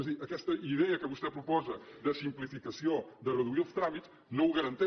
és a dir aquesta idea que vostè proposa de simplificació de reduir els tràmits no ho garanteix